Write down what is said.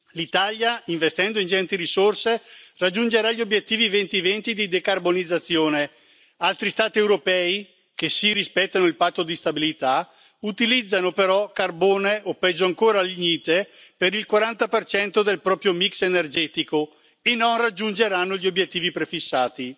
L'Italia, investendo ingenti risorse, raggiungerà gli obiettivi 2020 di decarbonizzazione, altri Stati europei, che sì rispettano il patto di stabilità, utilizzano però carbone o peggio ancora lignite per il 40 del proprio mix energetico, e non raggiungeranno gli obiettivi prefissati.